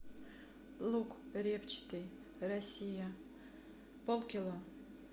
лук репчатый россия пол кило